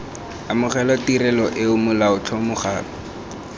amogela tirelo eo molaotlhomo gape